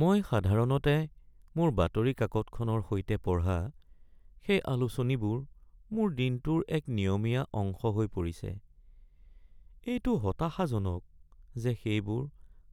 মই সাধাৰণতে মোৰ বাতৰি কাকতখনৰ সৈতে পঢ়া সেই আলোচনীবোৰ মোৰ দিনটোৰ এক নিয়মীয়া অংশ হৈ পৰিছে। এইটো হতাশাজনক যে সেইবোৰ